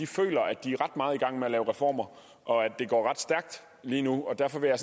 føler at de er ret meget i gang med at lave reformer og at det går ret stærkt lige nu derfor vil jeg